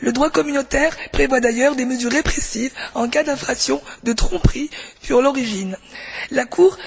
Le droit communautaire prévoit d'ailleurs des mesures répressives en cas d'infraction, de tromperie sur l'origine. La Cour...